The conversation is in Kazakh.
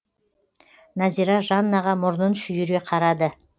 назира жаннаға мұрнын шүйіре қарады